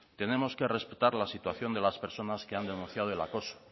tenemos que respetar la situación de todas las personas que han denunciado el acoso